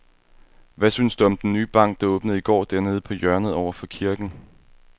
Hvad synes du om den nye bank, der åbnede i går dernede på hjørnet over for kirken?